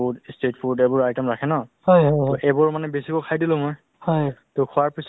এই শৰীৰটোয়ে main শৰীৰটোক অলপ সুস্থ ৰাখিব লাগে to সেইকাৰণে মানে অলপ খোজকাঢ়ো আৰু